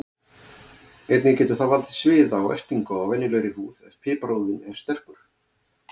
Einnig getur það valdið sviða og ertingu á venjulegri húð ef piparúðinn er sterkur.